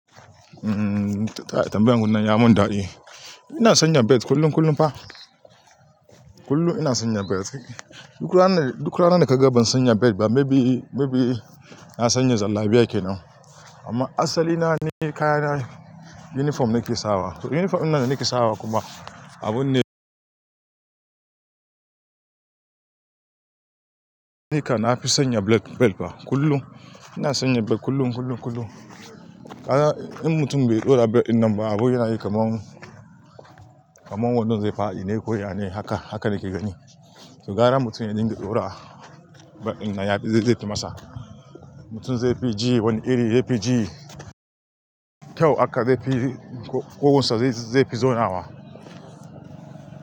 Mm, tambayar ku nan ya mun dadi. Ina sanya belt kullum, kullum fa. Kullum ina sanya belt. Duk rana, duk rana naga ban sanya belt ba, maybe, maybe na sanya zallabiya kenan. Amma asali na ni kayana uniform nake sawa. To uniform dinnan da nake sawa kuma abun ne haka na fi sanya black belt fa kullum. Ina sanya belt kullum, kullum, kullum. A'a, in mutum bai dora belt din nan ba abin yana yi kaman, kaman wandon zai fa dine ko ya ne haka, haka nake gani. To gara mutum ya dinga tora belt din nan, ya fi zai fi masa. Mutum zai fi ji wani iri, zai fi ji kyau haka zai fi ƙugunsa zai fi zaunawa.